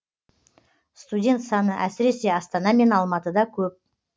студент саны әсіресе астана мен алматыда көп